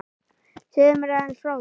Segðu mér aðeins frá því.